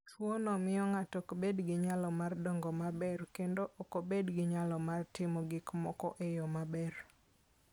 Tuwono miyo ng'ato ok bed gi nyalo mar dongo maber, kendo ok obed gi nyalo mar timo gik moko e yo maber.